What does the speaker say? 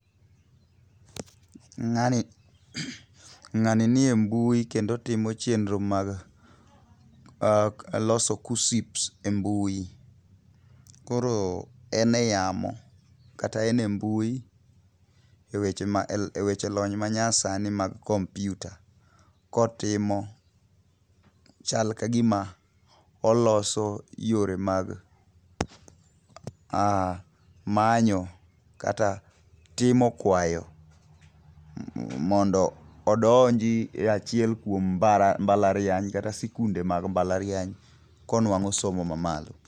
Ng'ani ng'ani nie mbui kendo otimo chenro mag loso KUSSIPS e mbui. Koro en e yamo kata en e mbui ewe weche lony ma nyasani mag kompyuta kotimo chal kagima oloso yore mag manyo kata timo kwayo mondo odonjI e achiel kuom mbalariany kata sikunde mag mbalariany konuang'o somo mamalo.